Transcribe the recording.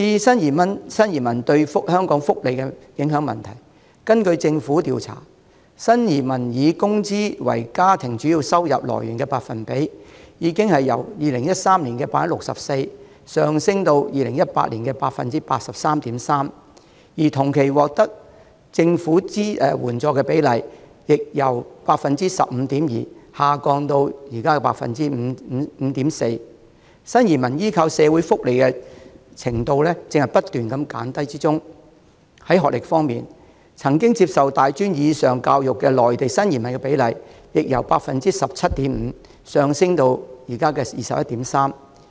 至於新移民對香港福利的影響，根據政府調查，新移民以工資為家庭主要收入來源的百分比，已由2013年的 64% 上升至2018年的 83.3%， 而同期獲得政府援助的比例，則由 15.2% 下降至現時的 5.4%， 新移民對社會福利的依靠正在不斷減低；在學歷方面，曾接受大專或以上教育的內地新移民的比例亦由 17.5% 上升至現時的 21.3%。